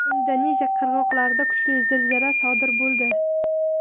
Indoneziya qirg‘oqlarida kuchli zilzila sodir bo‘ldi.